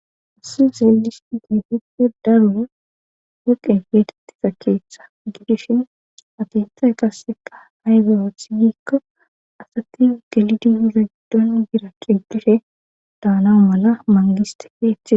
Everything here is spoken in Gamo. Haysi xelishn huppe darur woqe beetettisa keeththa gidishin atetay qasseka haygerothi giikko asati gelidi hiza giddon gira digdire daanau mala mangiste heehiee